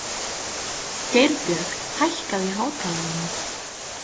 Geirbjörg, hækkaðu í hátalaranum.